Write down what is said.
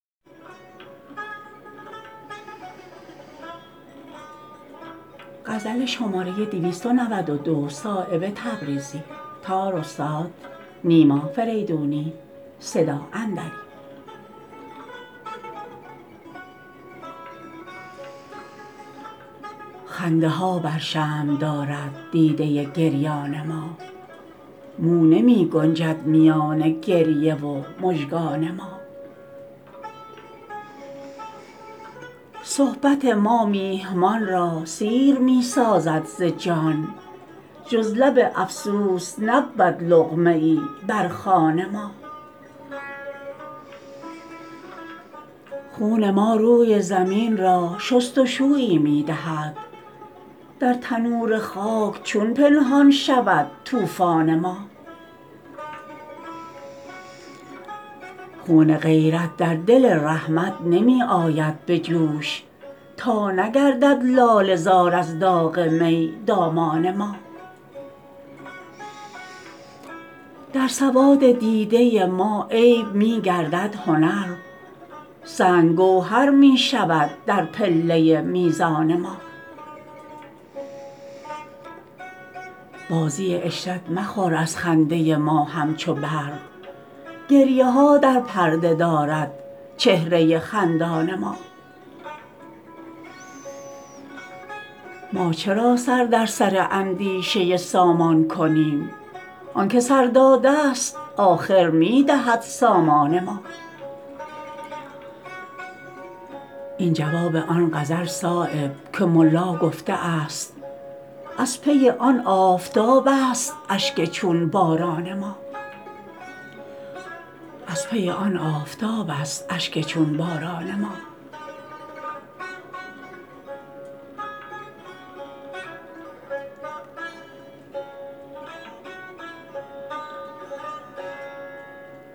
خنده ها بر شمع دارد دیده گریان ما مو نمی گنجد میان گریه و مژگان ما صحبت ما میهمان را سیر می سازد ز جان جز لب افسوس نبود لقمه ای بر خوان ما خون ما روی زمین را شستشویی می دهد در تنور خاک چون پنهان شود طوفان ما خون غیرت در دل رحمت نمی آید به جوش تا نگردد لاله زار از داغ می دامان ما در سواد دیده ما عیب می گردد هنر سنگ گوهر می شود در پله میزان ما بازی عشرت مخور از خنده ما همچو برق گریه ها در پرده دارد چهره خندان ما ما چرا سر در سر اندیشه سامان کنیم آن که سر داده است آخر می دهد سامان ما این جواب آن غزل صایب که ملا گفته است از پی آن آفتاب است اشک چون باران ما